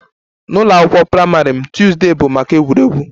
N'ụlọ akwụkwọ praịmarị m, Tuesday bụ maka egwuregwu